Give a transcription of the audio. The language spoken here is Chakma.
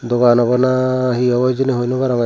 dogaan obow naa he obow hijeni hoi no barongey eyot.